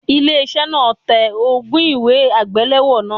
Ilé iṣẹ́ náà náà tẹ ogún un ìwé àgbélọ́wọ́ náà.